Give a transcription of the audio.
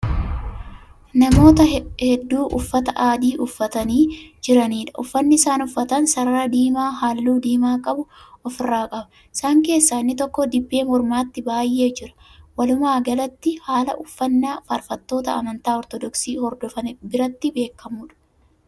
Namoota hedduu uffata adii uffatanii jiraniidha. uffanni isaan uffatan sarara diimaa halluu diimaa qaabu ofirraa qaba. isaan keessaa inni tokko dibbee mormatti baay'ee jira. walumaagalatti haala uffannaa faarfattoota amantaa ortodoksii hordofan biraatti beekamuudha.